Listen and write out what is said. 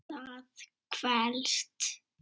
Það kvelst.